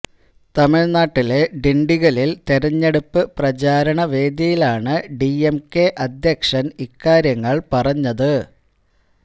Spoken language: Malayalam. തമിഴ്നാട്ടിലെ ഡിണ്ടിഗലില് തെരഞ്ഞെടുപ്പ് പ്രചാരണ വേദിയിലാണ് ഡിഎംകെ അധ്യക്ഷന് ഇക്കാര്യങ്ങള് പറഞ്ഞത്